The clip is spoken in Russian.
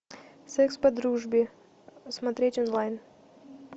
секс по дружбе смотреть онлайн